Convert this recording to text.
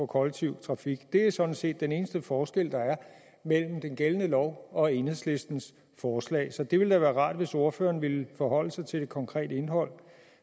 kollektive trafik det er sådan set den eneste forskel der er mellem den gældende lov og enhedslistens forslag så det ville da være rart hvis ordføreren ville forholde sig til det konkrete indhold